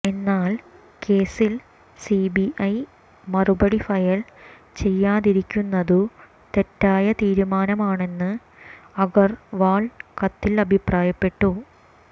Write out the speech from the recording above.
എന്നാൽ കേസിൽ സിബിഐ മറുപടി ഫയൽ ചെയ്യാതിരിക്കുന്നതു തെറ്റായ തീരുമാനമാണെന്ന് അഗർവാൾ കത്തിൽ അഭിപ്രായപ്പെട്ടു